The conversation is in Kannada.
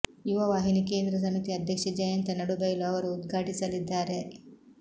ಯುವ ವಾಹಿನಿ ಕೇಂದ್ರ ಸಮಿತಿ ಅಧ್ಯಕ್ಷ ಜಯಂತ ನಡುಬೈಲು ಅವರು ಉದ್ಘಾಟಿಸಲಿದ್ದಾರೆ